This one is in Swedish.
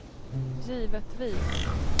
givetvis